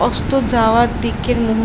অস্ত যাওয়ার দিকের মুহূর--